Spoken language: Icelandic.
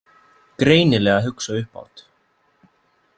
Greinilega að hugsa upphátt.